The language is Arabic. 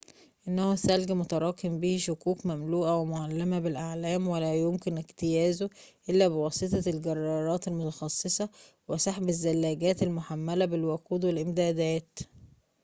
إنه ثلج متراكم به شقوق مملوءة ومُعلّمة بالأعلام ولا يمكن اجتيازه إلا بواسطة الجرارات المتخصصة وسحب الزلاجات المحملة بالوقود والإمدادات